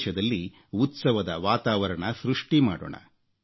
ದೇಶದಲ್ಲಿ ಉತ್ಸವದ ವಾತಾವರಣ ಸೃಷ್ಠಿ ಮಾಡೋಣ